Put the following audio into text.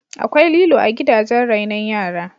Akwai lilo a gidajen rainon yara